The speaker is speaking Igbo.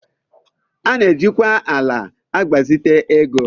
A na-ejikwa ala agbazite ego